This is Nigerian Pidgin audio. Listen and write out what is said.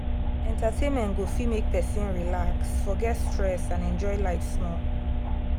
entertainment go fit make person relax forget stress and enjoy life small.